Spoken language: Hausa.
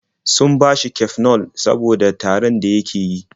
Sun bashi Cafenol saboda tarin da yake yi.